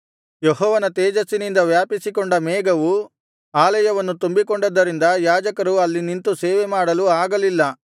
ಯೆಹೋವನ ತೇಜಸ್ಸಿನಿಂದ ವ್ಯಾಪಿಸಿಕೊಂಡ ಮೇಘವು ಆಲಯವನ್ನು ತುಂಬಿಕೊಂಡದ್ದರಿಂದ ಯಾಜಕರು ಅಲ್ಲಿ ನಿಂತು ಸೇವೆ ಮಾಡಲು ಆಗಲಿಲ್ಲ